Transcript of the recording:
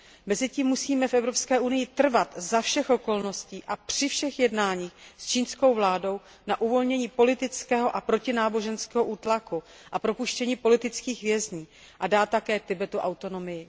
Mezitím musíme v Evropské unii trvat za všech okolností a při všech jednáních s čínskou vládou na uvolnění politického a protináboženského útlaku a propuštění politických vězňů a také na tom, aby byla Tibetu dána autonomie.